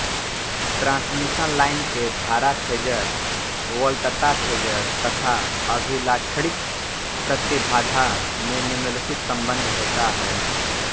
transmission line के धारा phasor वोल्तता फेजर तथा अभिलाक्षणिक प्रतिभाधा में निम्नलिखित सम्बन्ध होता है